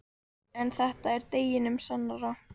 En þetta er deginum sannara.